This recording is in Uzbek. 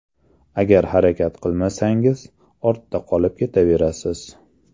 Agar harakat qilmasangiz, ortda qolib ketaverasiz.